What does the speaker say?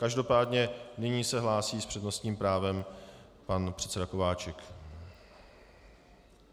Každopádně nyní se hlásí s přednostním právem pan předseda Kováčik.